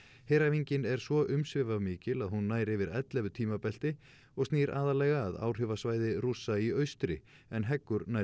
heræfingin er svo umsvifamikil að hún nær yfir ellefu tímabelti og snýr aðallega að áhrifasvæði Rússa í austri en heggur nærri